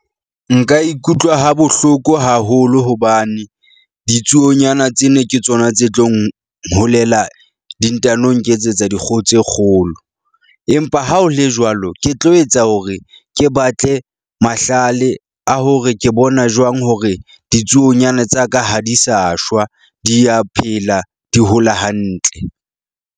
Nka ikutlwa ha bohloko haholo hobane ditsuonyana tsena ke tsona tse tlo nholela, di ntano nketsetsa dikgoho tse kgolo. Empa ha o le jwalo, ke tlo etsa hore ke batle mahlale a hore ke bona jwang hore ditsuonyana tsa ka ha di sa shwa, di ya phela di hola hantle.